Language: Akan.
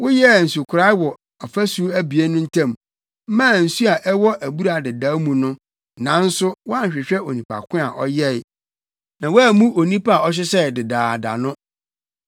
Woyɛɛ nsukorae wɔ afasu abien no ntam maa nsu a ɛwɔ Abura Dedaw mu no, nanso woanhwehwɛ Onipa ko a ɔyɛe, na woammu Onipa a ɔhyehyɛe dedaada no.